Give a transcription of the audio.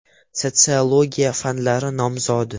Sotsiologiya fanlari nomzodi.